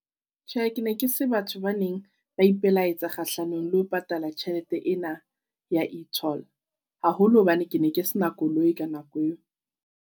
Tjhehe ke ne ke se batho ba neng ba ipelaetsa kgahlanong le ho patala tjhelete ena ya e-toll. Haholo hobane ke ne ke se na koloi ka nako eo.